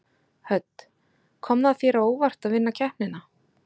Hödd: Kom það þér á óvart að vinna keppnina?